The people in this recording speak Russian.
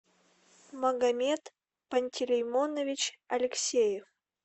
магомед пантелеймонович алексеев